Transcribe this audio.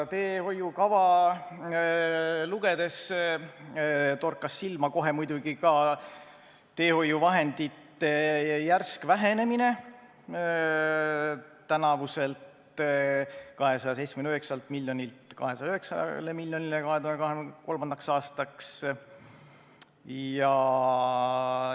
Teehoiukava lugedes torkas muidugi kohe silma ka teehoiuvahendite järsk vähenemine, tänavuselt 279 miljonilt 209-le miljonile eurole 2023. aastaks.